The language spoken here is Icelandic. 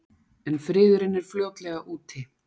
En friðurinn er fljótlega úti.